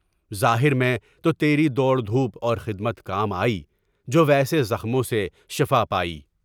ظاہر میں تو تیری دوڑ دھوپ اور خدمت کام آئی جو ویسے زخموں سے شفایابی۔